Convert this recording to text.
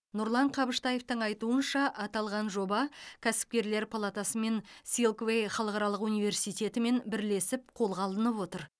нұрлан қабыштаевтың айтуынша аталған жоба кәсіпкерлер палатасы мен силквей халықаралық университетімен бірлесіп қолға алынып отыр